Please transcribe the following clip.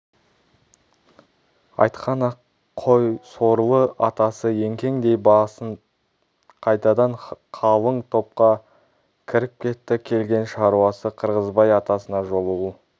айтқан-ақ қой сорлы атасы еңкеңдей басып қайтадан қалың топқа кіріп кетті келген шаруасы қырғызбай атасына жолығу